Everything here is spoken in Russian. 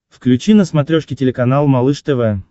включи на смотрешке телеканал малыш тв